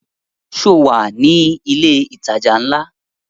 Sọ wà ní ilẹ̀ ìtajà ńlá?